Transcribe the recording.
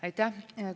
Aitäh!